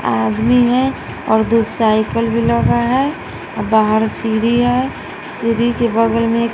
आदमी है और दो साइकल भी लगा है बाहर सीढ़ी हैं सीढ़ी के बगल में--